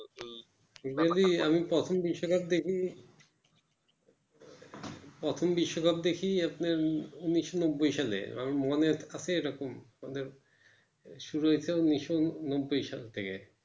যদি আমি প্রথম বিশ্বকাপ দেখি প্রথম বিশ্বকাপ দেখি আপনার উনিশশো নব্বই সালে আমার মনে আছে এইরকম মানে শুরুহইয়াছে উনিশশো নব্বই সাল থেকে।